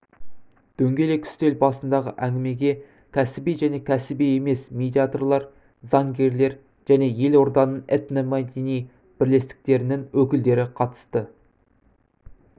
дөңгелек үстел басындағы әңгімеге кәсіби және кәсіби емес медиаторлар заңгерлер және елорданың этномәдени бірлестіктерінің өкілдері қатысты